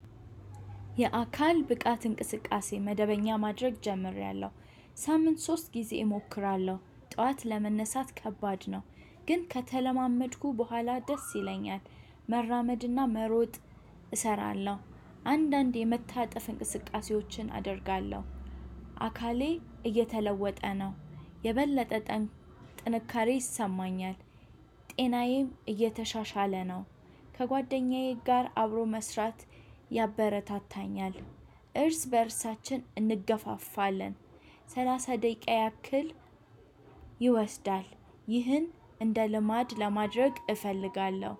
የአካል ብቃት እንቅስቃሴ መደበኛ ማድረግ ጀምሬያለሁ ሳምንት ሶስት ጊዜ እሞክራለሁ ጠዋት ለመነሳት ከባድ ነው ግን ከተለማመድኩ በኋላ ደስ ይለኛል መራመድና መሮጥ እሰራለሁ። አንዳንዴ የመታጠፍ እንቅስቃሴዎችን አደርጋለሁ። አካሌ እየተለወጠ ነው። የበለጠ ጥንካሬ ይሰማኛል። ጤናዬም እየተሻሻለ ነው። ከጓደኛዬ ጋር አብሮ መስራት ያበረታታኛል። እርስ በእርሳችን እንገፋፋለን። ሰላሳ ደቂቃ ያክል ይወስዳል። ይህን እንደ ልማድ ለማድረግ እፈልጋለሁ